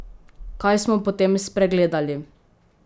Kaj smo potem spregledali?